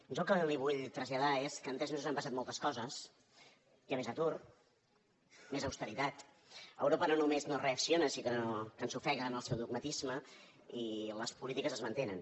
jo el que li vull traslladar és que en tres mesos han passat motles coses hi ha més atur més austeritat europa no només no reacciona sinó que ens ofega amb el seu dogmatisme i les polítiques es mantenen